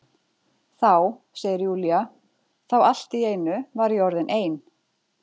Þá, segir Júlía, þá allt í einu var ég orðin ein.